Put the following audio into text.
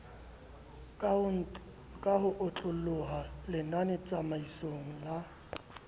ka ho otloloha lenanetataisong la